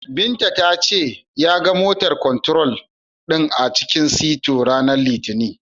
Binta ta ce, ya ga "motor control" din a cikin sito, ranar Litinin.